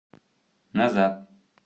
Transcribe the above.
назад